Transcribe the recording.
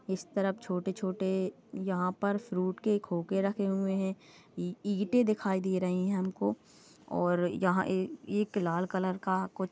इस तरफ छोटे छोटे यहाँ पर फ्रुट के खोखे रखे हुए है इ- इटे दिखाई दे रही है हमको और यहाँ ए- एक लाल कलर का कुछ--